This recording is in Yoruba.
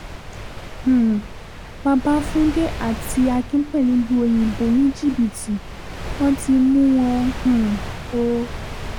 um babafúndé àti akínpẹ̀lú lu òyìnbó ní jìbìtì wọ́n ti mú wọn um o